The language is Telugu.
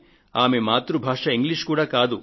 ఆమె మాతృ భాష ఇంగ్లీషు కాదు